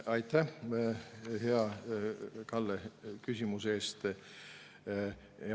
Aitäh, hea Kalle, küsimuse eest!